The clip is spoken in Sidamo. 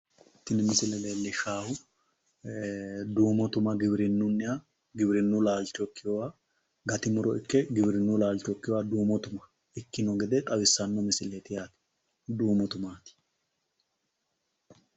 tini misile leellishshaahu duumo tuma giwirinnuniha giwirinnu laalcho ikkinoha gati muro ikke giwirinnu laalcho ikkino duumo tuma ikkino gede tawissanno misileeti yaate duumo tuma.